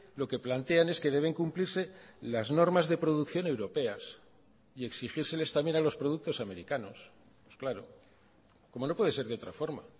lo que plantean es que deben cumplirse las normas de producción europeas y exigírseles también a los productos americanos pues claro como no puede ser de otra forma